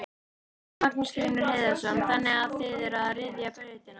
Magnús Hlynur Hreiðarsson: Þannig að þið eruð að ryðja brautina?